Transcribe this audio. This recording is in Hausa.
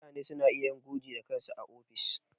Mutane suna iya yin gurji da kansu a ofis.